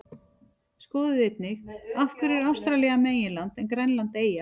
Skoðið einnig: Af hverju er Ástralía meginland en Grænland eyja?